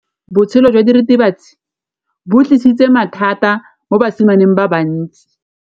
Botshelo jwa diritibatsi ke bo tlisitse mathata mo basimaneng ba bantsi.